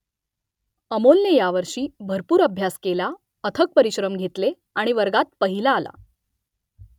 अमोलने यावर्षी भरपूर अभ्यास केला अथक परिश्रम घेतले आणि वर्गात पहिला आला